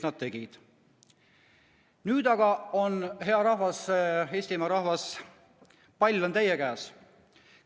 Nüüd aga on, hea Eestimaa rahvas, pall teie käes.